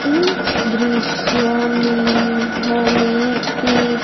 इस दृश्य में हमें ये--